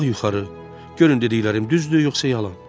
Qalxaq yuxarı, görün dediklərim düzdür, yoxsa yalan?